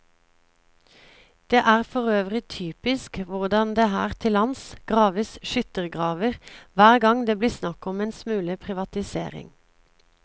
Det er forøvrig typisk hvordan det her til lands graves skyttergraver hver gang det blir snakk om en smule privatisering.